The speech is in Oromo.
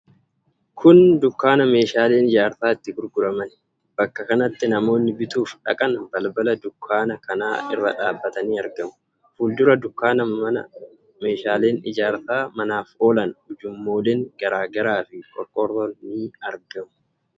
Kun dukkaana meeshaaleen ijaarsaa itti gurguramani. Bakka kanatti namoonni bituuf dhaqan balbala dukkaana kanaa irra dhaabatanii argamu. Fuuldura dukkaana kanaa meeshaaleen ijaarsa manaaf oolan, ujummooleen garaa garaa fi qorqorroon ni argamu.